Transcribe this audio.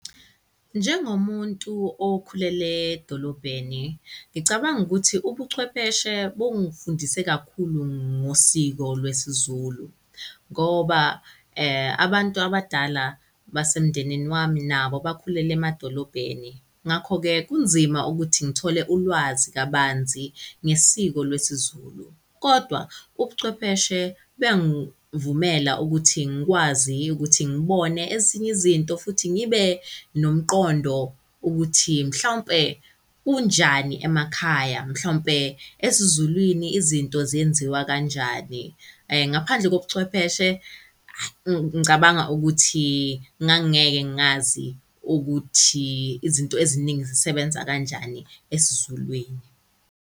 Njengomuntu okhulele edolobheni, ngicabanga ukuthi ubuchwepheshe bungifundise kakhulu ngosiko lwesiZulu ngoba abantu abadala basemndenini wami nabo bakhulele emadolobheni. Ngakho-ke kunzima ukuthi ngithole ulwazi kabanzi ngesiko lwesiZulu kodwa ubuchwepheshe buyangvumela ukuthi ngkwazi ukuthi ngibone ezinye izinto futhi ngibe nomqondo ukuthi mhlawumpe kunjani emakhaya, mhlawumpe esiZulwini izinto zenziwa kanjani . Ngaphandle kobuchwepheshe ngicabanga ukuthi ngangingeke ngazi ukuthi izinto eziningi zisebenza kanjani esiZulwini.